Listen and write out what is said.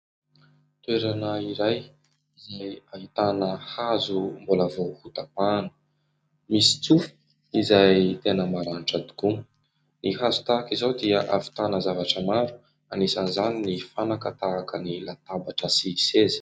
Toerana iray izay ahitana hazo mbola vao ho tapahana. Misy tsofa izay tena maranitra tokoa. Ny hazo tahaka izao dia hahavitàna zavatra maro, anisan'izany ny fanaka tahaka ny latabatra sy seza.